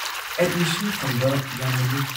Admission ꯐꯪꯕ ꯌꯥꯝꯅ ꯂꯨꯏ ꯫